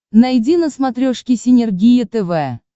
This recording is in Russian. найди на смотрешке синергия тв